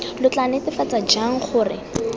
lo tla netefatsa jang gore